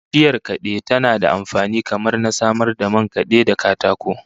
Bishiyar kade tana da amfani kamar na samar da man kade da katako